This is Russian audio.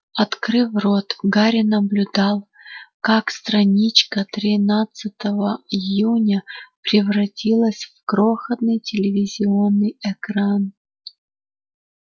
открыв рот гарри наблюдал как страничка тринадцатого июня превратилась в крохотный телевизионный экран